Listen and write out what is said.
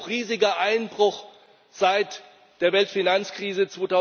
Riesiger Einbruch seit der Weltfinanzkrise